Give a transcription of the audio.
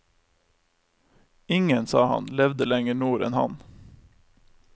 Ingen, sa han, levde lenger nord enn han.